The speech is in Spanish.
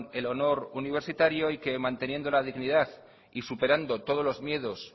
el honor universitario y que manteniendo la dignidad y superando todos los miedos